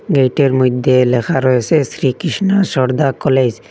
গেটের মইধ্যে লেখা রয়েছে শ্রীকৃষ্ণ সরদা কলেজ ।